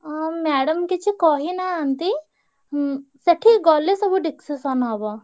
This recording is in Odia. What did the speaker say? ଅଁ madam କିଛି କହିନାହାନ୍ତି। ଉଁ ସେଠି ଗଲେ ସବୁ discussion ହବ।